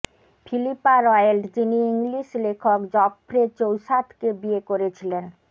Philippa Roet যিনি English লেখক Geoffrey চৌসাথকে বিয়ে করেছিলেন